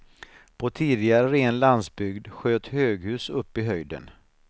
På tidigare ren landsbygd sköt höghus upp i höjden.